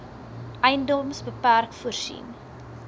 edms bpk voorsien